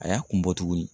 A y'a kun bɔ tuguni